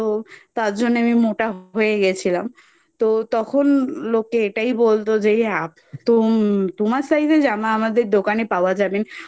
তার জন্যে আমি মোটা হয়ে গেছিলাম তো তখন লোকে এটাই বলতো যে তোম তোমার Size এর জামা আমাদের দোকানে পাওয়া যাবে না।